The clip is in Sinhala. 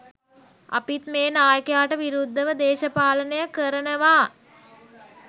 අපිත් මේ නායකයාට විරුද්ධව දේශපාලනය කරනවා.